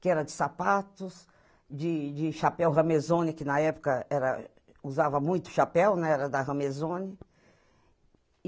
Que era de sapatos, de de chapéu ramezoni, que na época era... usava muito chapéu né, era da ramezoni.